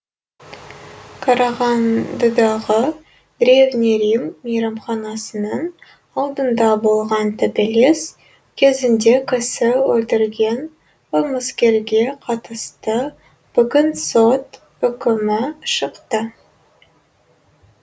қарағандыдағы древний рим мейрамханасының алдында болған төбелес кезінде кісі өлтірген қылмыскерге қатысты бүгін сот үкімі шықты